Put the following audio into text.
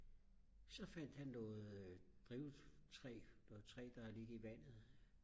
så fandt han noget drivtræ noget træ som har ligget i vandet